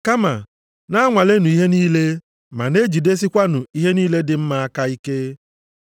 Kama na-anwalenụ ihe niile ma na-ejidesikwanụ ihe niile dị mma aka ike.